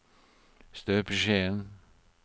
støpeskjeen